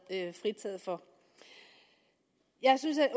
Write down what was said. fritaget for jeg synes at